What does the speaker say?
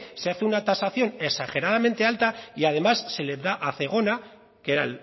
se hace una tasación exageradamente alta y además se le da a zegona que era